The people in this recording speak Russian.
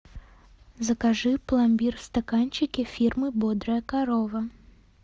закажи пломбир в стаканчике фирмы бодрая корова